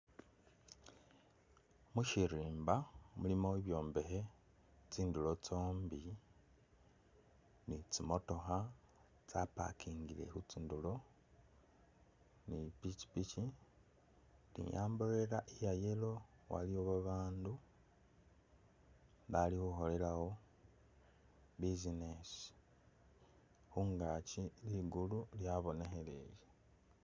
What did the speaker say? Mushirimba mulimo ibyombekhe tsindulo tsombi ni tsi motookha tsa parkingile khutsi'ndulo, ni pikipiki ni umbrella iya yellow, waliwo babandu balikhukholewo business khungaki ligulu lyabonekheleye